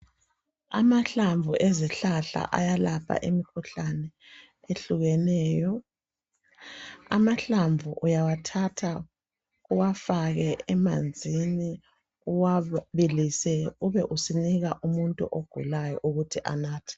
Amahlamvu ezihlahla ayalapha imikhuhlane ehlukeneyo amahlamvu uyawathatha uwafake emanzini uwabilise ube usunika umuntu ogulayo ukuthi anathe